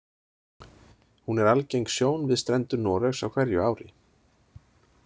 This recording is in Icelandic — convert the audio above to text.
Hún er algeng sjón við strendur Noregs á hverju ári.